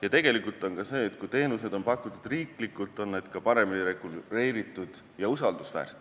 Ja tegelikult on nii, et kui teenused on pakutud riiklikult, on need ka paremini reguleeritud ja usaldusväärsed.